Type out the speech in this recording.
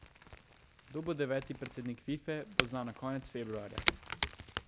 Kdo bo deveti predsednik Fife, bo znano konec februarja.